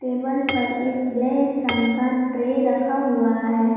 पर एक ब्लैक रंग का ट्रे रखा हुआ है।